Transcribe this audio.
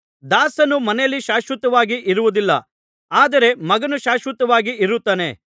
ದಾಸನು ಮನೆಯಲ್ಲಿ ಶಾಶ್ವತವಾಗಿ ಇರುವುದಿಲ್ಲ ಆದರೆ ಮಗನು ಶಾಶ್ವತವಾಗಿ ಇರುತ್ತಾನೆ